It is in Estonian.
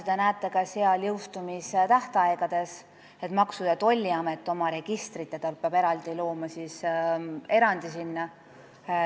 Ja nagu te näete ka jõustumise tähtaegadest, Maksu- ja Tolliamet peab looma erandi oma registritesse.